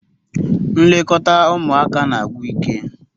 Ilekọta ụmụaka na-agwụ ike